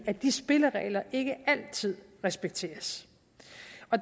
at de spilleregler ikke altid respekteres